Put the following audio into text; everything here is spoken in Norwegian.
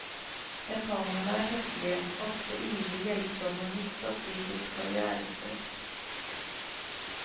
Japanerne er høflige, ofte ivrig hjelpsomme midt oppe i sitt karrièrestress.